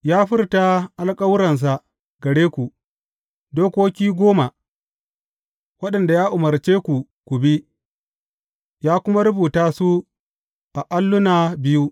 Ya furta alkawarinsa gare ku, Dokoki Goma, waɗanda ya umarce ku ku bi, ya kuma rubuta su a alluna biyu.